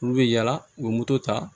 Olu bɛ yala u bɛ moto ta